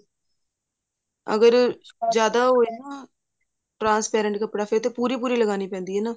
ਅਗਰ ਜਿਆਦਾ ਉਹ ਹੈ ਨਾ transparent ਕੱਪੜਾ ਫ਼ੇਰ ਤਾਂ ਪੂਰੀ ਪੂਰੀ ਲਗਾਉਣੀ ਪੈਂਦੀ ਹੈ ਨਾ